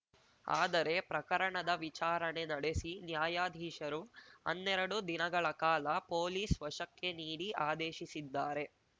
ಆದರೆ ಪ್ರಕರಣದ ವಿಚಾರಣೆ ನಡೆಸಿ ನ್ಯಾಯಾಧೀಶರು ಹನ್ನೆರಡು ದಿನಗಳ ಕಾಲ ಪೊಲೀಸ್‌ ವಶಕ್ಕೆ ನೀಡಿ ಆದೇಶಿಸಿದ್ದಾರೆ